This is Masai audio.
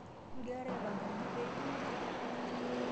Igirara aipanga eji pee king'uaa?